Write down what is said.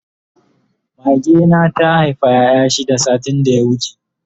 Mage na ta Haifa ƴaƴa shida satin da ya wuce